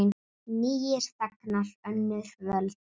Nýir þegnar, önnur völd.